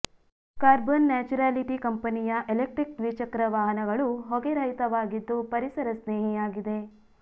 carbon neutrality ಕಂಪನಿಯ electric ದ್ವಿಚಕ್ರ ವಾಹನಗಳು ಹೊಗೆ ರಹಿತವಾಗಿದ್ದು ಪರಿಸರ ಸ್ನೇಹಿಯಾಗಿದೆ